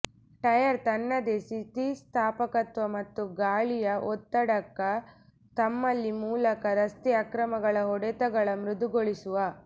tyre ತನ್ನದೇ ಸ್ಥಿತಿಸ್ಥಾಪಕತ್ವ ಮತ್ತು ಗಾಳಿಯ ಒತ್ತಡಕ ತಮ್ಮಲ್ಲಿ ಮೂಲಕ ರಸ್ತೆ ಅಕ್ರಮಗಳ ಹೊಡೆತಗಳ ಮೃದುಗೊಳಿಸುವ